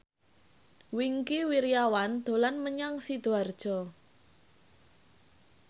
Wingky Wiryawan dolan menyang Sidoarjo